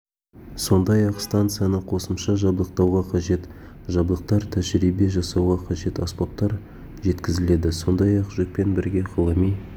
сондай-ақ станцияны қосымша жабдықтауға қажет жабдықтар тәжірибе жасауға қажет аспаптар жеткізіледі сондай-ақ жүкпен бірге ғылыми